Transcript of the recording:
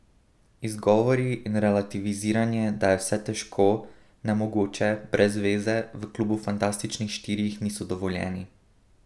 Izgovori in relativiziranje, da je vse težko, nemogoče, brez veze, v klubu fantastičnih štirih niso dovoljeni.